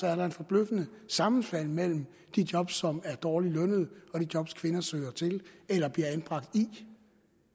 er et forbløffende sammenfald mellem de job som er dårligt lønnede og de job kvinder søger til eller bliver anbragt i